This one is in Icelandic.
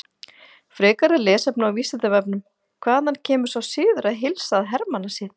Frekara lesefni á Vísindavefnum: Hvaðan kemur sá siður að heilsa að hermannasið?